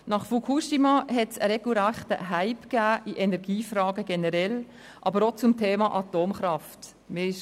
Nach Fukushima fand ein regelrechter Hype in der Energiefrage, aber auch zum Thema Atomkraft generell statt.